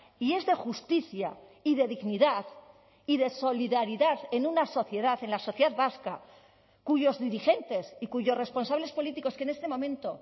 y es de justicia y de dignidad y de solidaridad en una sociedad en la sociedad vasca cuyos dirigentes y cuyos responsables políticos que en este momento